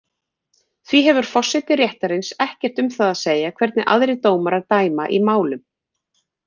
Því hefur forseti réttarins ekkert um það að segja hvernig aðrir dómarar dæma í málum.